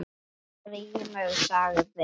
Grímur sagði